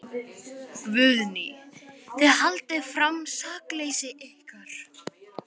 Guðný: Þið haldið fram sakleysi ykkar?